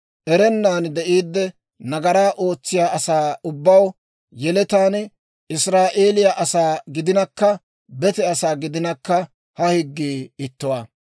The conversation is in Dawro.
Erennan de'iidde nagaraa ootsiyaa asaa ubbaw, yeletaan Israa'eeliyaa asaa gidinakka bete asaa gidinakka ha higgii ittuwaa.